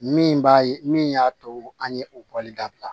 Min b'a ye min y'a to an ye o kɔli dabila